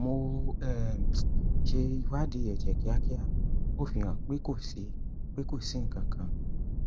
mo um ṣe ìwádìí ẹjẹ kíákia ó fi hàn pé kó sì pé kó sì nkankan